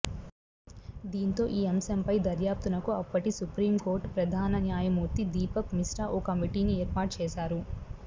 దీంతో ఈ అంశంపై దర్యాప్తునకు అప్పటి సుప్రీంకోర్టు ప్రధాన న్యాయమూర్తి దీపక్ మిశ్రా ఓ కమిటీని ఏర్పాటు చేశారు